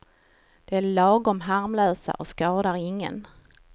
De är lagom harmlösa och skadar ingen.